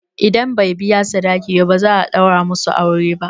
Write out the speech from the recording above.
Idan bai biya sadaki ba, ba za a ɗaura musu aure ba.